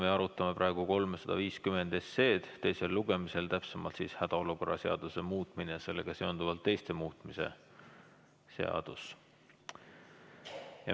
Me arutame praegu eelnõu 350 teisel lugemisel, täpsemalt siis hädaolukorra seaduse muutmise ja sellega seonduvalt teiste seaduste muutmise seaduse eelnõu.